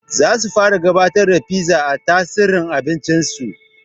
Zasu fara gabatar da fiza a tsarin abincin su